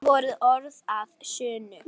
Það voru orð að sönnu.